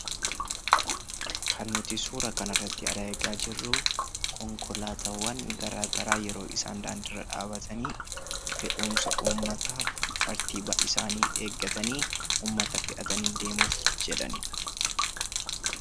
Kan nuti suura kana irratti arginu konkolaataawwan garagaraa yeroo isaan karaa irraa dhaabbatanii fe'umsa uummataaf tartiiba isaanii eeggatanii deemuuf jedhanidha.